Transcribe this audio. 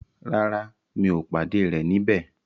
Rárá, mi ò pàdé rẹ̀ níbẹ̀.